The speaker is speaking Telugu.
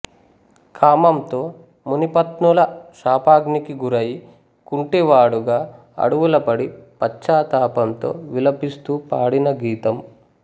కామంతో మునిపత్నుల శాపాగ్నికి గురయి కుంటివాడుగా అడవుల పడి పశ్చాత్తాపంతో విలపిస్తూ పాడిన గీతం